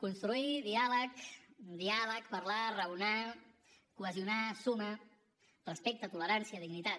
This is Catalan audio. construir diàleg diàleg parlar raonar cohesionar suma respecte tolerància dignitat